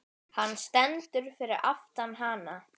Hann stendur fyrir aftan hana.